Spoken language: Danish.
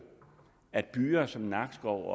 at byer som nakskov